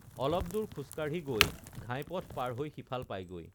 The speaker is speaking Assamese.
অলপ দূৰ খোজকাঢ়ি গৈ ঘাইপথ পাৰ হৈ সিফাল পায়গৈ